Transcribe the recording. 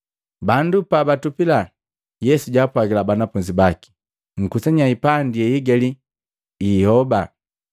Bandu pabatupila, Yesu jaapwagila banafunzi baki, “Nkusanya hipandi yeihigali hiiyooba.”